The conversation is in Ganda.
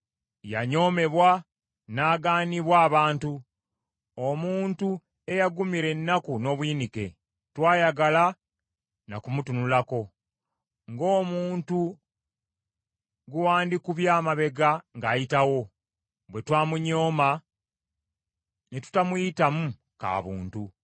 Yanyoomebwa n’agaanibwa abantu; omuntu eyagumira ennaku n’obuyinike. Tetwayagala na kumutunulako, ng’omuntu gwe wandikubye amabega ng’ayitawo, bwe twamunyooma ne tutamuyitamu ka buntu.